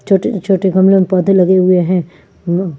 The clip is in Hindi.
छोटे छोटे गमलो में पोधे लगे हुए है --